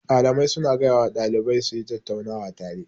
Mallamai su na gaya wa ɗalibai su yi tattaunawa tare